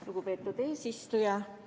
Lugupeetud eesistuja!